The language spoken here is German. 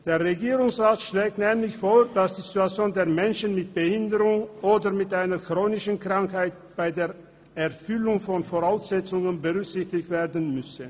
Der Regierungsrat schlägt nämlich vor, dass die Situation der Menschen mit Behinderung oder einer chronischen Krankheit bei der Erfüllung der Voraussetzungen berücksichtigt werden muss.